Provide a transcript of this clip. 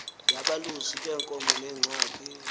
yabalusi beenkomo neengxaki